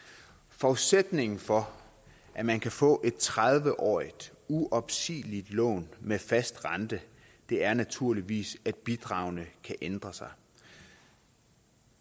forudsætningen for at man kan få et tredive årig t uopsigeligt lån med fast rente er naturligvis at bidragene kan ændre sig